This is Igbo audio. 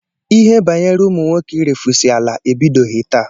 Ihe banyere ụmụ nwoke irefusi ala ebidoghi taa.